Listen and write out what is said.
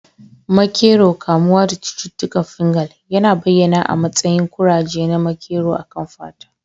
Makero, kamuwa da cututtukan fungal, yana bayyana a matsayin kuraje na makero a kan fata.